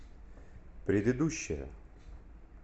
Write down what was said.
предыдущая